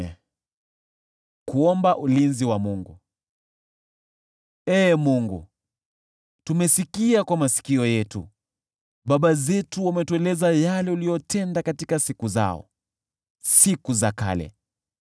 Ee Mungu, tumesikia kwa masikio yetu, baba zetu wametueleza yale uliyotenda katika siku zao, siku za kale.